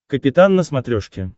капитан на смотрешке